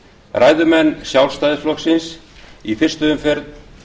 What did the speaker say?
ræðumenn sjálfstæðisflokksins í fyrstu umferð